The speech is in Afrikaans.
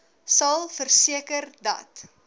sal verseker dat